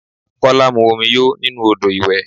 Kola mu omi yóò nínú ọ́dọ̀ ìwẹ̀.